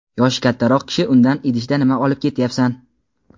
Yoshi kattaroq kishi undan "Idishda nima olib ketyapsan?"